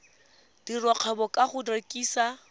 dira kgwebo ka go rekisa